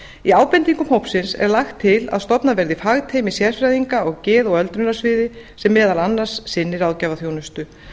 í ábendingum hópsins er lagt til að stofnað verði fagteymi sérfræðinga á geð og öldrunarsviði sem meðal annars sinnir ráðgjafarþjónustu